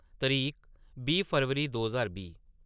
तरीक बीह् फरवरी दो ज्हार बीह्